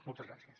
moltes gràcies